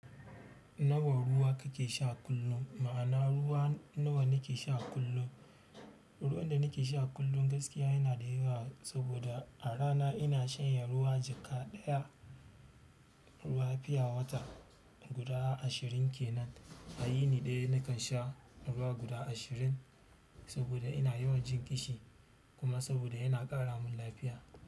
Nawa ruwa kake sha kullum? Ma'ana ruwa nawa nake sha kullum. Ruwan da nake sha kullum gaskiya yana da yawa saboda a rana ina shanye ruwa jaka ɗaya, ruwa pure water guda ashirin kenan. A yini ɗaya nakan sha ruwa guda ashirin saboda ina yawan jin ƙishi kuma saboda yana ƙara mun lafiya.